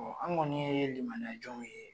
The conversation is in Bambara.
Ɔ an kɔni ye limaniya jɔnw ye!